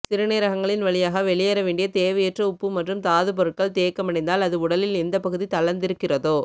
சிறுநீரகங்களின் வழியாக வெளியேற வேண்டிய தேவையற்ற உப்பு மற்றும் தாதுப்பொருட்கள் தேக்கமடைந்தால் அது உடலில் எந்த பகுதி தளர்ந்திருக்கிறதோ